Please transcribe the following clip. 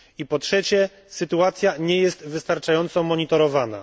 Po trzecie, sytuacja nie jest wystarczająco monitorowana.